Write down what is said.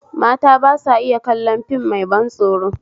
Mata ba sa iya kallon fim mai ban tsoro